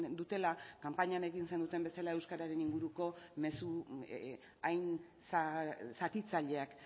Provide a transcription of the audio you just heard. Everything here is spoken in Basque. dutela kanpainan egin zenuten bezala euskararen inguruko mezu hain zatitzaileak